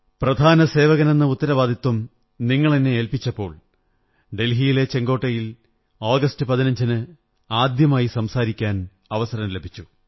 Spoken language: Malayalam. പ്രധാന സേവകനെന്ന ഉത്തരവാദിത്തം നിങ്ങളെന്നെ ഏല്പ്പിെച്ചപ്പോൾ ഡെല്ഹിധയിലെ ചെങ്കോട്ടയിൽ ആഗസ്റ്റ് 15 ന് ആദ്യമായി സംസാരിക്കാൻ അവസരം ലഭിച്ചു